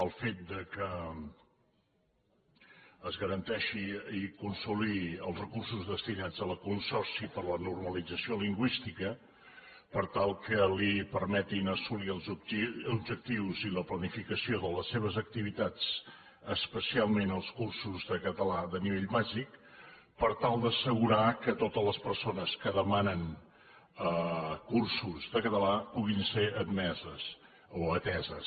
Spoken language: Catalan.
el fet que es garanteixin i consolidin els recursos destinats al consorci per a la normalització lingüística per tal que li permetin assolir els objectius i la planificació de les seves activitats especialment els cursos de català de nivell bàsic per tal d’assegurar que totes les persones que demanen cursos de català puguin ser admeses o ateses